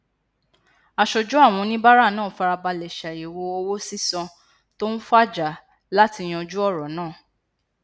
aṣojú àwọn oníbàárà náà farabalẹ ṣàyèwò owo sisan to n faja láti yanjú òrọ náà